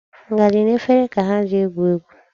Ngaji na efere ka ha ji egwu egwu.